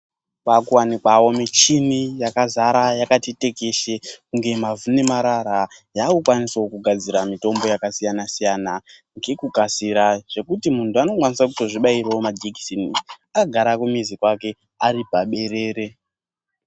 Kwaa kuwanikwa wo michini yakazara yakati tekeshe kunge mavhu nemarara. Yaa kukwanisawo kugadzira mitombo yakasiyana-siyana ngekukasira. Zvekuti muntu aakuto kwanisa kuto zvibairawo majekiseni akagara kumizi kwake, ari paberere.